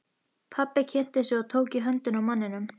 Pabbi kynnti sig og tók í höndina á manninum.